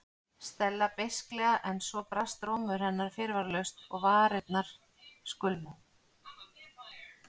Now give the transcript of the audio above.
Stella beisklega en svo brast rómur hennar fyrirvaralaust og varirnar skulfu.